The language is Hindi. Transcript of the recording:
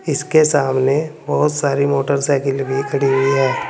इसके सामने बोहोत सारी मोटरसाइकिल भी खड़ी हुई है।